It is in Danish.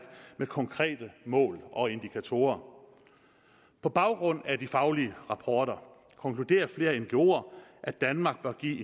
med konkrete mål og indikatorer på baggrund af de faglige rapporter konkluderer flere ngoer at danmark bør give